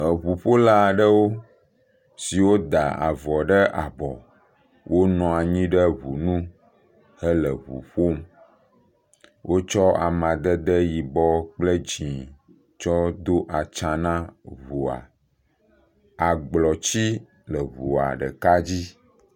Eŋuƒola aɖewo siwo da avɔ ɖe abɔ. Wonɔ anyi ɖe ŋu nu hele ƒoƒom. Wotsɔ amadede yibɔ kple dzi tsɔ do atsa na ŋua. Agblɔtsi le ŋua ɖeka dzi.